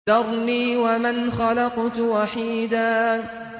ذَرْنِي وَمَنْ خَلَقْتُ وَحِيدًا